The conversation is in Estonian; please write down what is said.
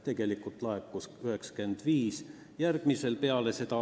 Tegelikult laekus 95%.